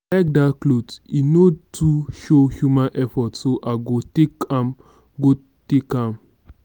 i like dat cloth and e no too show human effort so i go take am go take am